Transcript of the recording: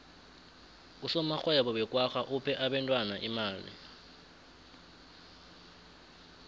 usomarhwebo wekwagga uphe abentwana imali